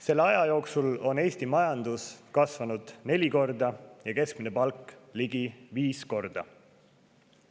Selle aja jooksul on Eesti majandus kasvanud neli korda ja keskmine palk ligi viis korda.